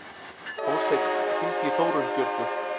Hólmsteinn, hringdu í Þórunnbjörgu.